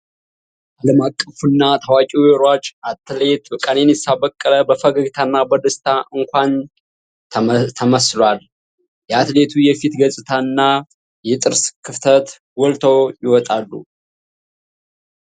ዓለም አቀፉ እና ታዋቂ የሩጫ አትሌት ቀነኒሳ በቀለ በፈገግታና በደስታ አኳኋን ተመስሏል። የአትሌቱ የፊት ገፅታ እና የጥርስ ክፍተት ጎልተው ይወጣሉ።